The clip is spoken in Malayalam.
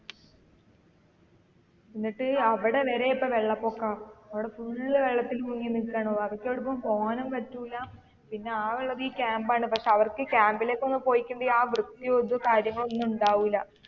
അന്നിട്ട് അവിടെവരെ ഇപ്പൊ വെള്ളപൊക്കമാ. അവിടെ full വെള്ളത്തില് മുങ്ങിനിൽക്കാണ് ബാപ്പാക്കവിടെ ഇപ്പൊ പോകാനും പറ്റൂല്ല പിന്നെ ആ വെള്ളത്തില് camp ണ്. പക്ഷെ അവർക്ക് camp ലേക്ക് പോയിട്ടുണ്ടേല് വൃത്തിയോ, ഇതോ കാര്യമോന്നും ഉണ്ടാകേല.